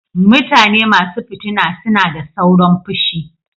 mutane masu fitina suna da sauron fushi.